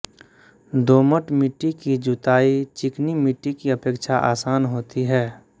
दोमट मिट्टी की जुताई चिकनी मिट्टी की अपेक्षा आसान होती है